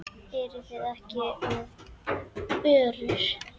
Eruð þið ekki með börur?